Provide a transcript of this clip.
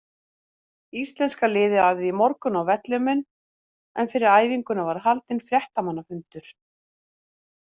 Íslenska liðið æfði í morgun á vellinum en fyrir æfinguna var haldinn fréttamannafundur.